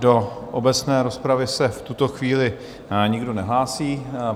Do obecné rozpravy se v tuto chvíli nikdo nehlásí.